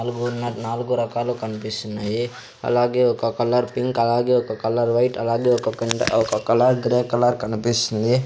నలుగురున్నారు నాలుగు రకాలు కన్పిస్తున్నాయి అలాగే ఒక కలర్ పింక్ అలాగే ఒక కలర్ వైట్ అలాగే ఒక కింట్ ఒక కలర్ గ్రే కలర్ కనిపిస్తుంది.